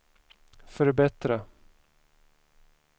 förbättra